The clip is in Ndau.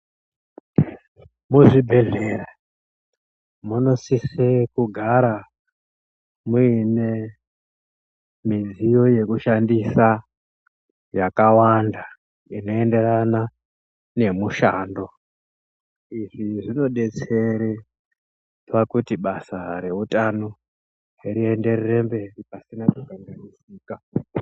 Muzvibhehlera munosise kugara mune midziyo yekushandisa yakawanda inoenderana nemushanda izvi zvinodetsere kuti basa reutano rienderere mberi pasina kukanganisika.